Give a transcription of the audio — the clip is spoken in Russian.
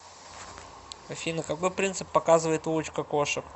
афина какой принцип показывает улочка кошек